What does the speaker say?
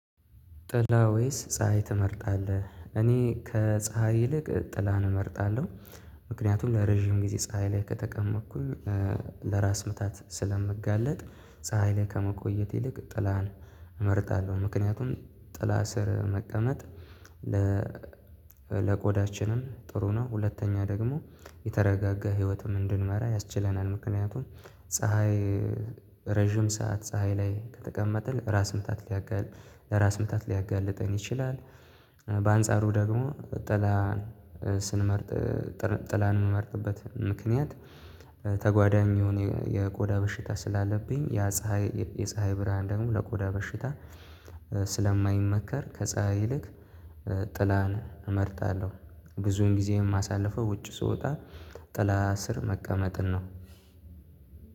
ጥላ ወይስ ፀሀይ ትመርጣለህ? እኔ ከፀሀይ ይልቅ ጥላን እመርጣለሁ። ምክንያቱም ለረጅም ጊዜ ፀሀይ ላይ ከተቀጥመኩኝ ለራስ ምታት ስለምጋለጥ። ፀሀይ ላይ ከመቆየት ይልቅ ጥላን እመርጣለሁ። ምክንያቱም ጥላ ስር መቀመጥ ለ ጥሩ ነው። ሁለተኛ ደግሞ የተረጋጋ ህይወትም እንድንመራ ያስችለናል። ምክንያቱም ፀሀይ ረጅም ሰዓት ፀሀይ ላይ ከተቀመጥን ራስ ምታት ሊያጋልጥ ለራስ ምታት ሊያጋልጠን ይችላል። በአንጻሩ ደግሞ ጥላ ስንመርጥ ጥላን የምመርጥበት ምክንያት ተጓዳኝ የሆነ የቆዳ በሽታ ስላለብኝ ያ ፀሀይ የፀሀይ ብርሃን ደግሞ ለቆዳ በሽታ። ስለማይመከር ከፀሀይ ይልቅ ጥላን እመርጣለሁ። ብዙን ጊዜ የማሳልፈው ውጭ ስወጣ ጥላ ስር መቀመጥን ነው።